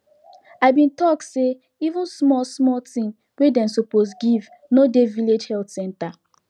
i bin talk say even small small thing wey dem suppose give no dey village health center